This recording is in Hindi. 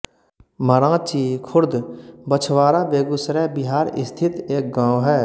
मराँची खुर्द बछवारा बेगूसराय बिहार स्थित एक गाँव है